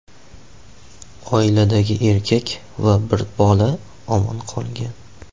Oiladagi erkak va bir bola omon qolgan.